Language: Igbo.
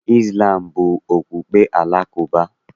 Izlam bụ okpukpe Alakụba.